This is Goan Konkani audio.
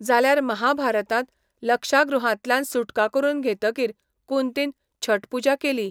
जाल्यार महाभारतांत, लक्षागृहांतल्यान सुटका करून घेतकीर कुंतीन छठ पूजा केली.